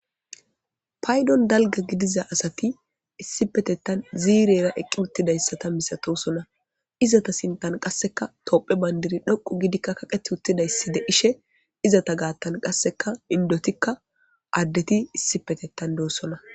Payiddoni daliga gidiza asati issippetethani ziirera eqi utidayisa asata misatosons izeta sinththani qasekka tophphiya bsnidirayi dhoqu gi kaqetidayisi deishshe izeta gatani qasekka indetikka adetikka issippe deosoona